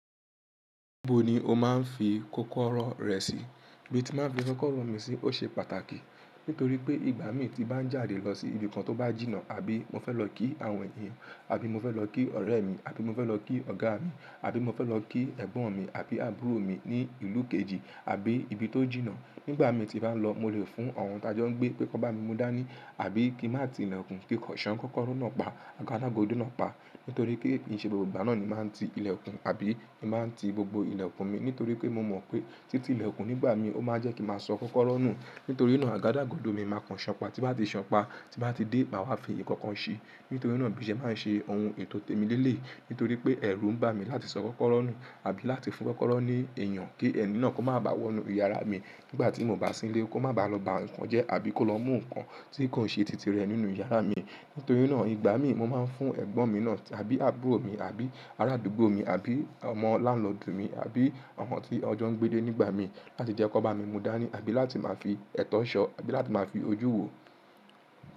Níbo ni o máa ń fi kókóró rẹ sí? Ibi tí mo máa ń fi kókóró mi sí ó ṣe pàtàkì, nítorí pé ìgbà mi tí bá ń jáde lọ sí ibi kan tó bá jìnnà, àbí mo fẹ́ lọ kí àwọn èèyàn, àbí mo fẹ́ lọ kí ọ̀rẹ́ mi, àbí mo fẹ́ lọ kí ọ̀gá mi, àbí mo fẹ́ lọ kí ẹ̀gbọ́n mi àbí àbúrò mi ní ìlú kejì, àbí ibi tó jìnnà. Nígbà mi tí bá ń lọ, mo lè fún ọ̀run tájọ́ gbé pé kó bá mi mú dání, àbí kí n má ti ilẹ̀kùn, kí kànṣán kókóró náà pa, àgádágodo náà pa. Nítorí pé ìṣe gbogbo ìgbà náà ni màá ń ti ilẹ̀kùn, àbí ni màá ń ti gbogbo ilẹ̀kùn mi, nítorí pé mo mọ̀ pé títí ilẹ̀kùn nígbà mi, ó máa jẹ́ kí màá sọ kókóró nù. Nítorí náà àgádágodo mi máa kàn ṣánpa, tí bá ti ṣánpa, tí bá ti dé, màá wá fi èèkànkan ṣe. Nítorí náà bí ẹ máa ń ṣe ohun ètó tèmi lé lẹ̀. Nítorí pé ẹ̀rù ń bà mí láti sọ kókóró nù, àbí láti fún kókóró ní èèyàn, kí ẹni náà kó má bá wọnú ìyàrá mi nígbà tí mo bá sílé, kó má bá lọ ba nǹkan jẹ́, àbí kó lọ mú nǹkan tí kò ṣe titi rẹ̀ nínú ìyàrá mi. Nítorí náà ìgbà mi mo máa ń fún ẹ̀gbọ́n mi náà, àbí àbúrò mi, àbí arádúgbò mi, àbí ọmọ lánàá ọdún mi, àbí ọ̀hún tí ọjọ́ ń gbé dé nígbà mi láti jẹ́ kó bá mi mú dání, àbí láti máa fi ẹ̀tọ́ ṣọ, àbí láti máa fi ojú wò.